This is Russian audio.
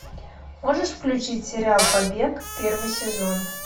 можешь включить сериал побег первый сезон